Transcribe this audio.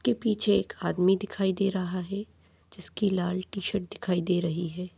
इस्के पीछे एक आदमी दिखाई दे रहा है जिसकी लाल टीशर्ट दिखाई दे रही है।